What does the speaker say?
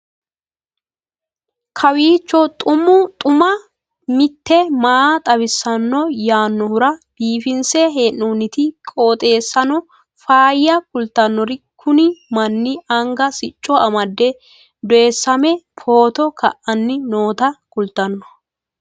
kowiicho xuma mtini maa xawissanno yaannohura biifinse haa'noonniti qooxeessano faayya kultannori kuni manni anga sicco amade doysame photo ka'anni noota kultanno